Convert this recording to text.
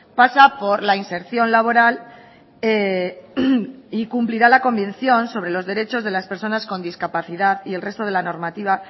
pasa por la inserción laboral y cumplirá la convicción sobre los derechos de las personas con discapacidad y el resto de la normativa